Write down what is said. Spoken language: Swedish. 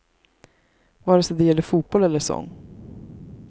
Vare sig det gäller fotboll eller sång.